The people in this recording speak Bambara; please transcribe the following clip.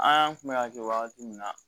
An kun bɛ ka kɛ wagati min na